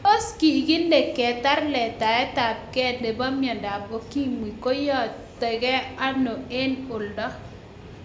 Tos kikilke keter letaet ab kee nebo myandap Ukimwi koyaitakee anoo en oldo